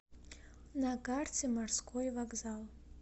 на карте морской вокзал